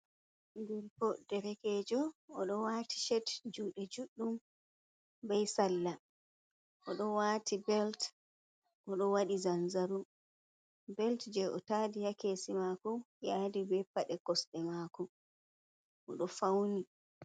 Gorko boɗejo o do wati chet jude juɗɗum bei salla. O do waati belt,o do wadi zanzaro, belt je o tadi ha kesi mako yadi be pade kosde mako o do fauni.